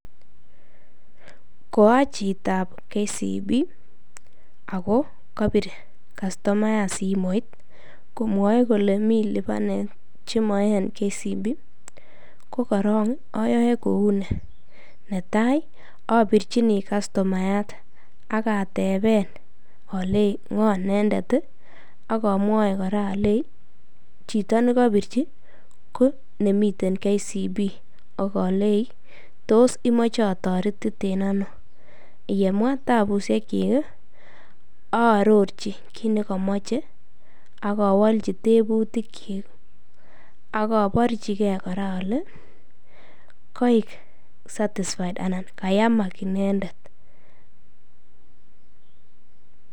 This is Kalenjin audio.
Ko achitab KCB ako kobir customayat simoit komwoe kolee mii libanet chemoe en KCB ko korong oyoe kouni, netai abirchini customayat ak ateben oleii ng'oo inendet ak omwoi kora olei chito nekobirchi ko nemiten KCB okolei toos imoche atoretiten anoo, yemwa tabushekyik arorchi kiit nekomoche ak owolchi tebutikyik ak oborchike kora olee koik satisfied anan kayamak inendet.